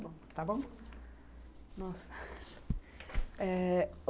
Muito bom.